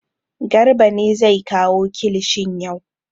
Garba ne zai kawo kilishin yau.